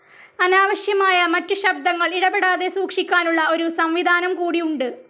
അനാവശ്യമായ മറ്റു ശബ്ദങ്ങൾ ഇടപെടാതെ സൂക്ഷിക്കാനുള്ള ഒരു സംവിധാനംകൂടി ഉണ്ട്.